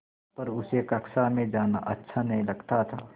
पर उसे कक्षा में जाना अच्छा नहीं लगता था